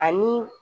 Ani